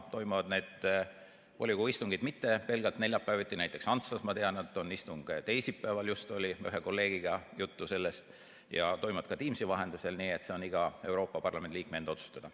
Ja need volikogu istungid ei toimu mitte pelgalt neljapäeviti, vaid ma tean, et näiteks Antslas on istung teisipäeval, just oli ühe kolleegiga juttu sellest, ja mõnel pool toimub istung ka Teamsi vahendusel, nii et see kõik on iga Euroopa Parlamendi liikme enda otsustada.